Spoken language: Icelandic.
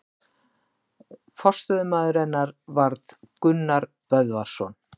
Forstöðumaður hennar varð Gunnar Böðvarsson.